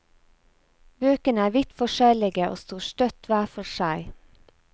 Bøkene er vidt forskjellige og står støtt hver for seg.